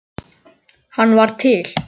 Hann var til.